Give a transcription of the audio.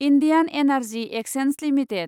Indian energy exchange limited